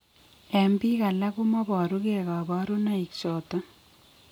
En biik alak komaboru gee kabarunaik choton